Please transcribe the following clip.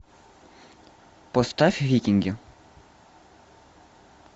поставь викинги